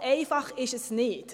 So einfach ist es aber nicht.